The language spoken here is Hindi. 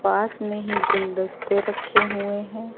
पास में ही गुलदस्ते रखे हुए हैं।